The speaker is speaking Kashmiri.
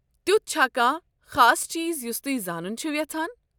تیتھ چھا کانٛہہ خاص چیٖز یٗس توہہِ زانن چھوٕ یژھان؟